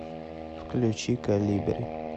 включи колибри